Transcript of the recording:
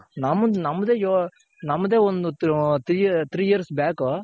ನಮ್ದೆ ನಮ್ದೆ ನಮ್ದೆ ಒಂದ್ Three three Years back.